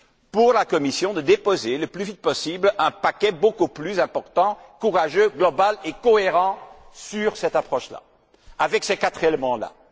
pour la Commission de déposer le plus vite possible un paquet beaucoup plus important, courageux, global et cohérent sur cette approche là, et comportant ces quatre éléments là.